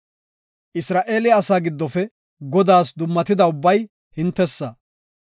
“Isra7eele asaa giddofe Godaas dummatida ubbay hintesa.